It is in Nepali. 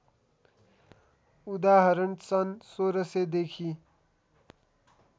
उदाहरण सन् १६०० देखि